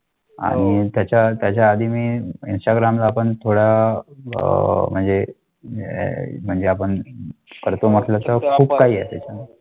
आणि त्याच्या त्याच्या आधी मी त्याच्या ग्राम आपण थोडा अह म्हणजे अह म्हणजे आपण करतो त्यावेळी.